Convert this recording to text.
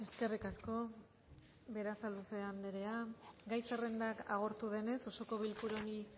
eskerrik asko berasaluze andrea gai zerrenda agortu denez osoko bilkura honi